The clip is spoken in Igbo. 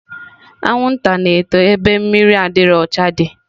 Anwụnta na-eto ebe mmiri adịrọ ọcha dị